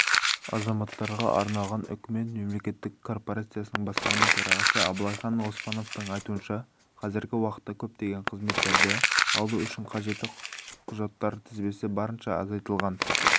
азаматтарға арналған үкімет мемлекеттік корпорациясының басқарма төрағасы абылайхан оспановтың айтуынша қазіргі уақытта көптеген қызметтерді алу үшін қажетті құжаттар тізбесі барынша азайтылған